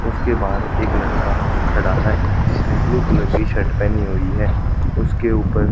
उसके बाहर एक लड़का खड़ा है जिसने ब्लू कलर की शर्ट पेहनी हुई है उसके उपर--